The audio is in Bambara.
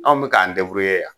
Anw be k'an yan